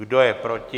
Kdo je proti?